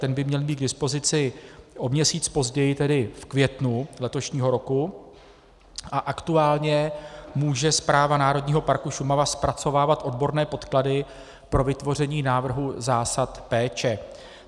Ten by měl být k dispozici o měsíc později, tedy v květnu letošního roku, a aktuálně může Správa Národního parku Šumava zpracovávat odborné podklady pro vytvoření návrhu zásad péče.